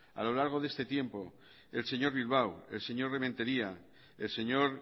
a lo largo de este tiempo el señor bilbao el señor rementeria el señor